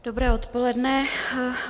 Dobré odpoledne.